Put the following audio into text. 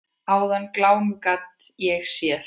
Áðan glámu gat ég séð.